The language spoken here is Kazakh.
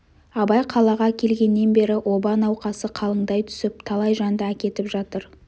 абай қалаға келгеннен бері оба науқасы қалыңдай түсіп талай жанды әкетіп жатыр